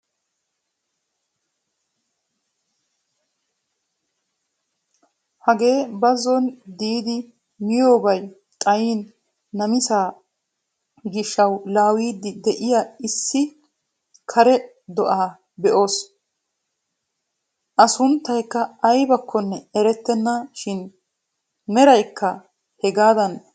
Hagee bazon diidi miyoobay xaayin namisaa giishshawu laawiidi de'iyaa issi kare do"aa be'oos. A sunttaykka aybakkonne erettenna shin a meraykka hegaadan lo"enna.